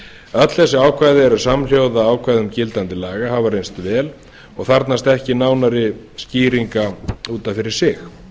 öll þessi ákvæði eru samhljóða ákvæðum gildandi laga og hafa reynst vel og þarfnast ekki nánari skýringa út af fyrir sig